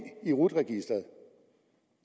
i rut registeret